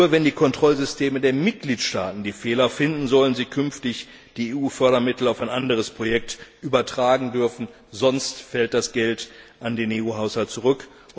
Nur wenn die Kontrollsysteme der Mitgliedstaaten die Fehler finden, sollen sie künftig die EU Fördermittel auf ein anderes Projekt übertragen dürfen, sonst fällt das Geld an den EU Haushalt zurück.